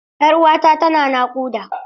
Yar uwata tana naƙuda.